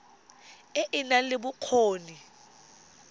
e e nang le bokgoni